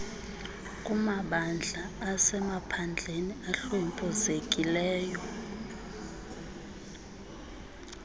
kumabandla asemaphandleni ahlwempuzekileyo